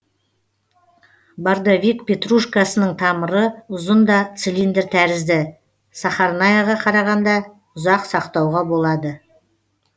бордовик петрушкасының тамыры ұзын да цилиндр тәрізді сахарнаяға қарағанда ұзақ сақтауға болады